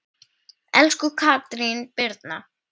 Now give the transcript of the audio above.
Elsku Katrín Brynja.